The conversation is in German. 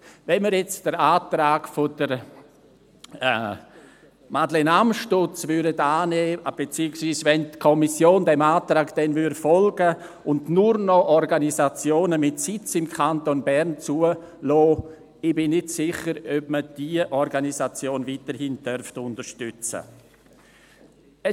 Wenn wir jetzt den Antrag von Madeleine Amstutz annehmen würden, beziehungsweise, wenn die Kommission diesem Antrag dann folgen würde und nur noch Organisationen mit Sitz im Kanton Bern zulässt, bin ich nicht sicher, ob wir diese Organisation weiterhin unterstützen dürften.